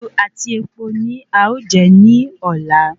Iṣu àti epo ni a o jẹ ní ọ̀la